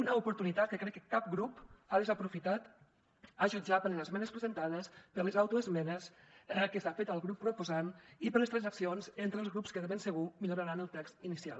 una oportunitat que crec que cap grup ha desaprofitat a jutjar per les esmenes presentades per les autoesmenes que s’ha fet el grup proposant i per les transaccions entre els grups que de ben segur milloraran el text inicial